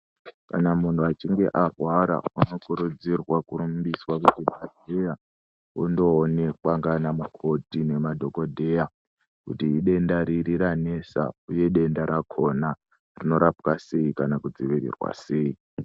Kana muntu achinge arwara anokurudzirwa kurumbiswa kuchibhedhlera ondoonekwa nana mukoti nemadhokodheya kuti idenda riri ranesa uye denda rakona rinorapwa sei kana kudzivirirwa sei.